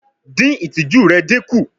Din itiju rẹ dinku